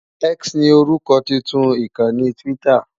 X ni orúkọ tuntun ìkànnì Twitter.